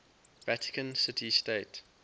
vatican city state